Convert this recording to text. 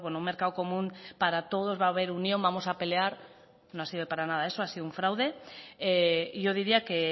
un mercado común para todos va a haber unión vamos a pelear no ha sido para nada eso ha sido un fraude y yo diría que